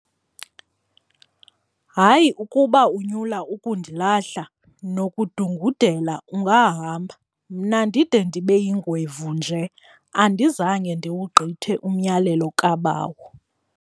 "Hayi ukuba unyula ukundilahla, nokudungudela ungahamba, mna ndide ndibe yingwevu nje andizange ndiwugqithe umyalelo kabawo."